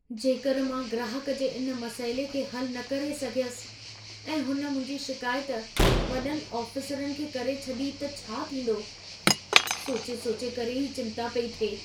जेकरि मां ग्राहक जे इन मसइले खे हल न करे सघियसि ऐं हुन मुंहिंजी शिकायत वॾनि आफ़िसरनि खे करे छॾी त छा थींदो? सोची-सोची करे ई चिंता पेई थिए।